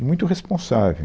E muito responsável.